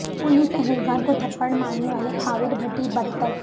police اہلکار کو تھپڑ مارنے والے خاور بھٹی برطرف